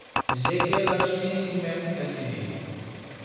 जेखि Lakshmi cement Ltd